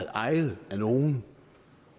ejet af nogen